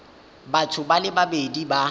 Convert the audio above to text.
batho ba le babedi ba